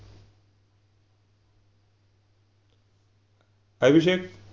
कैलूशेप